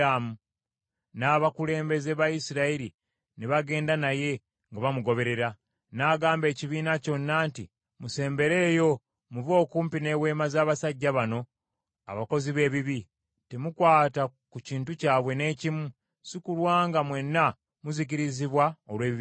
N’agamba ekibiina kyonna nti, “Musembereeyo muve okumpi n’eweema z’abasajja bano abakozi b’ebibi! Temukwata ku kintu kyabwe n’ekimu, sikulwa nga mwenna muzikirizibwa olw’ebibi byabwe.”